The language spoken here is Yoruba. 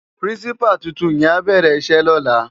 Pirinsipá tútún yèn á bèrè isè lòlá